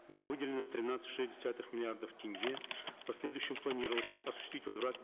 было выделено тринадцать и шесть десятых миллиардов тенге в последующем планировалось осуществить возврат